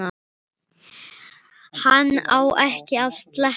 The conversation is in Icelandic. Hann á ekki að sleppa.